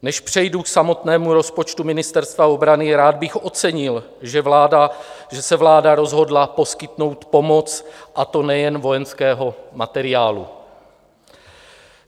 Než přejdu k samotnému rozpočtu Ministerstva obrany, rád bych ocenil, že se vláda rozhodla poskytnout pomoc, a to nejen vojenského materiálu.